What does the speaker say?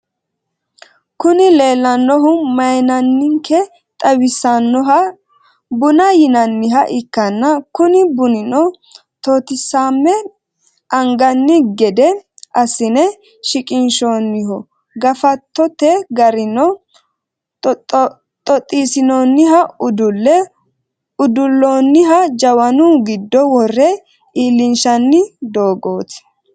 Kuni lelanohu mayimanike xawisanoha buna yinaniha ikana kuni bunino totisame aniganni gede asine siqinshoniho gafatote garino xoxxisinoniha udule uduloniha jawaanu gido worre ilishshani dogoti.